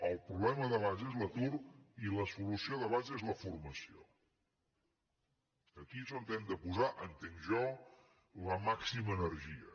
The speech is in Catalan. el problema de base és l’atur i la solució de base és la formació aquí és on hem de posar entenc jo la màxima energia